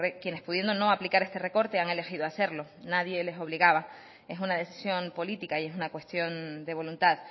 quienes pudiendo no aplicar este recorte han elegido hacerlo nadie les obligaba es una decisión política y es una cuestión de voluntad